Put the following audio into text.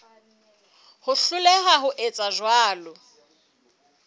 ho hloleha ho etsa jwalo